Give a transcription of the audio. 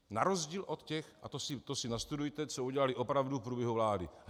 Na rozdíl od těch, a to si nastudujte, co udělali opravdu v průběhu vlády.